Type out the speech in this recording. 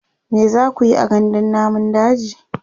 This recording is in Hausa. me zakuyi a gandun namun daji?